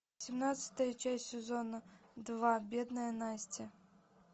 семнадцатая часть сезона два бедная настя